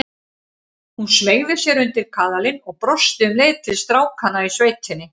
Hún smeygði sér undir kaðalinn og brosti um leið til strákanna í sveitinni.